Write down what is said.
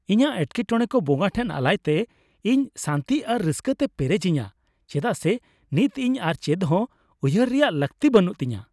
ᱤᱧᱟᱹᱜ ᱮᱴᱠᱮᱴᱚᱲᱮ ᱠᱚ ᱵᱚᱸᱜᱟ ᱴᱷᱮᱱ ᱟᱞᱟᱭᱛᱮ ᱤᱧ ᱥᱟᱱᱛᱤ ᱟᱨ ᱨᱟᱹᱥᱠᱟᱹ ᱛᱮᱭ ᱯᱮᱨᱮᱡᱤᱧᱟ ᱪᱮᱫᱟᱜ ᱥᱮ ᱱᱤᱛ ᱤᱧ ᱟᱨ ᱪᱮᱫᱦᱚᱸ ᱩᱭᱦᱟᱹᱨ ᱨᱮᱭᱟᱜ ᱞᱟᱹᱠᱛᱤ ᱵᱟᱹᱱᱩᱜ ᱛᱤᱧᱟᱹ ᱾